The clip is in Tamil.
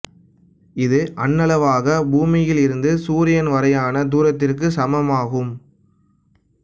இது அண்ணளவாக பூமியில் இருந்து சூரியன் வரையான தூரத்திற்குச் சமமாகும்